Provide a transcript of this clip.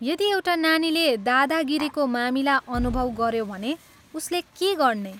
यदि एउटा नानीले दादागिरीको मामिला अनुभव गऱ्यो भने उसले के गर्ने?